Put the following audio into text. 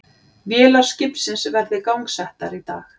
Vélar skipsins verði gangsettar í dag